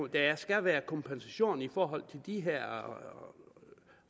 der skal være kompensation i forhold til de her